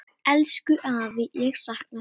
Elsku afi, ég sakna þín.